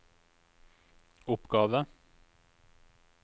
oppgave